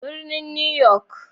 Birnin New York.